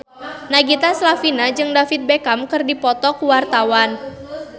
Nagita Slavina jeung David Beckham keur dipoto ku wartawan